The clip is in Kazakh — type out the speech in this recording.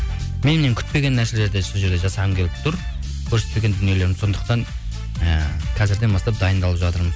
меннен күтпеген нәрселерді сол жерде жасағым келіп тұр көрсетпеген дүниелерім сондықтан і қазірден бастап дайындалып жатырмын